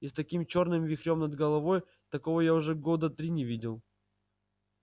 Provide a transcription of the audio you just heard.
и с таким чёрным вихрём над головой такого я уже года три не видел